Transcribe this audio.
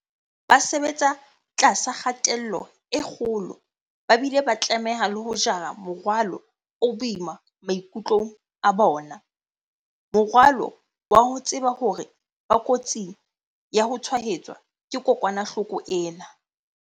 Ba sebetsa tlasa kgatello e kgolo ba bile ba tlameha le ho jara morwalo o boima maikutlong a bona, morwalo wa ho tseba hore ba kotsing ya ho tshwaetswa ke kokwanahloko ena.